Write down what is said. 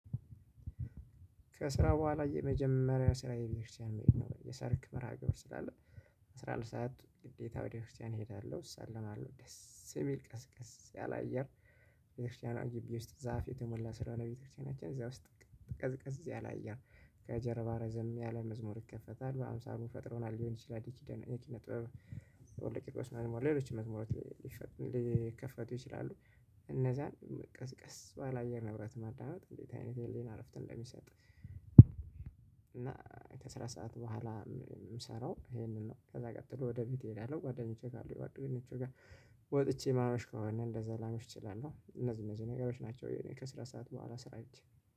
ከስራ በኋላ የመጀመሪያ ስራዬ ቤተክርስቲያን መሄድ ነው የሰርክ መርሃግብር ስላለ። አስራ አንድ ሰዓት ግዴታ ወደ ቤተክርስትያን እሄዳለው እሳለማለው ደስ የሚል ቀዝቅዝ ያለ አየር። ወደ ክርስቲያኗ ግቢ ውስጥ ዛፍ የተሞላ ስለሆነ ቤተክርስቲያናችን እዛ ውስጥ። ቀዝቀዝ ያለ አየር። ከጀርባ ረዘም ያለ መዝሙር ይከፈታል በአምሳሉ ፈጥሮናል ሊሆን ይችላል። የኪነ ጥበብ ወለቂቆች መዝሙር ሌሎች መዝሙር። ሊከፈቱ ይችላሉ። እነዛ ቀዝ ቀስ ባለ አየር ንብረት ማጣናት እንዴት? አይነት ህሊና እረፍትን እንደሚሰጥ እንደሚሰራ። እና ከስራ ሰዓት በኋላ። ምሰራው ይሄንን ነው ከዛ ቀጥሎ ወደ ቤቴ እሄዳለሁ። ጓደኞቼ ካሉ የጓደኞቼ ጋር። ወጥቼ ማርሽ ከሆነ እንደዛ ላመሽ እችላለሁ። እነዚህ እነዚህ ነገሮች ናቸው። ከስራ ሰዓት በኋላ ስራ አይቼ